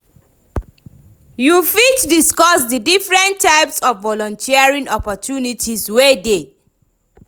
You fit discuss di different types of volunteering opportunities wey dey?